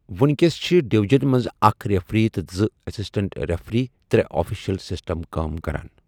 ونکیس چھِ ڈویجن منٛز اکھ ریفری تہٕ زٕ اسسٹنٹ ریفری ترٛےٚ آفیشل سسٹم کٲم کران۔